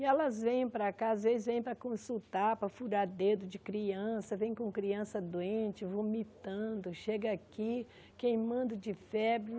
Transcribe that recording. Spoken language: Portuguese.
E elas vêm para cá, às vezes vêm para consultar, para furar dedo de criança, vêm com criança doente, vomitando, chega aqui queimando de febre.